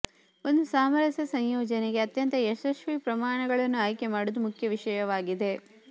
ಒಂದು ಸಾಮರಸ್ಯ ಸಂಯೋಜನೆಗೆ ಅತ್ಯಂತ ಯಶಸ್ವಿ ಪ್ರಮಾಣಗಳನ್ನು ಆಯ್ಕೆ ಮಾಡುವುದು ಮುಖ್ಯ ವಿಷಯವಾಗಿದೆ